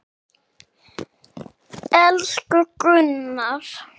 Elsku Gunnar.